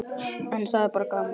En það er bara gaman.